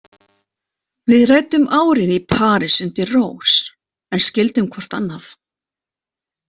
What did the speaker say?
Við ræddum árin í París undir rós en skildum hvort annað.